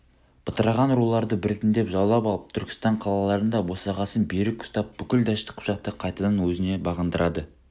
бытыраған руларды біртіндеп жаулап алып түркістан қалаларын да босағасын берік ұстап бүкіл дәшті қыпшақты қайтадан өзіне бағындырады